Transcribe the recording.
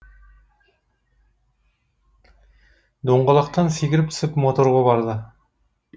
доңғалақтан секіріп түсіп моторға барды